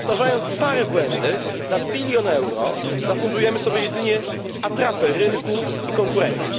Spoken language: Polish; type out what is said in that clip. Powtarzając stare błędy za bilion euro zafundujemy sobie jedynie atrapę rynku i konkurencji.